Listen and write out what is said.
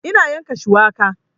Ina yanka shuwaka